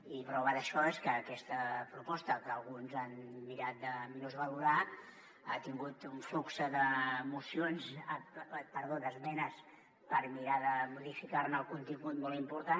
i prova d’això és que aquesta proposta que alguns han mirat de menysvalorar ha tingut un flux d’esmenes per mirar de modificar·ne el contingut molt important